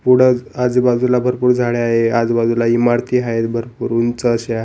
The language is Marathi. पुढंच आजूबाजूला भरपूर झाडे आहे आजूबाजूला इमारती आहे भरपूर उंच अशा --